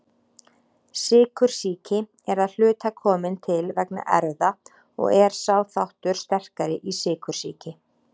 Sykursýki er að hluta komin til vegna erfða og er sá þáttur sterkari í sykursýki.